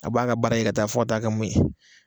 A b'a ka baara kɛ ka taa fo taa kɛ mun ye